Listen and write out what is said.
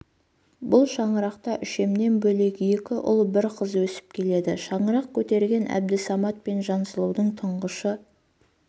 бұл шаңырақта үшемнен бөлек екі ұл бір қыз өсіп келеді шаңырақ көтерген әбдісамат пен жансұлудың тұңғышы